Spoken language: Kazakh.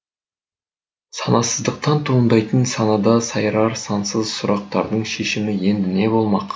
санасыздықтан туындайтын санада сайрар сансыз сұрақтардың шешімі енді не болмақ